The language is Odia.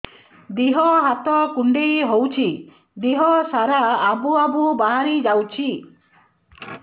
ଦିହ ହାତ କୁଣ୍ଡେଇ ହଉଛି ଦିହ ସାରା ଆବୁ ଆବୁ ବାହାରି ଯାଉଛି